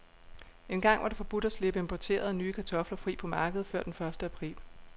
Engang var det forbudt at slippe importerede, nye kartofler fri på markedet før den første april.